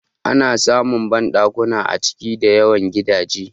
Ana samun banɗakuna a cikin da yawan gidaje